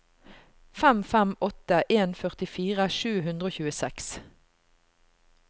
fem fem åtte en førtifire sju hundre og tjueseks